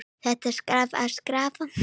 Þetta þarf að skýra.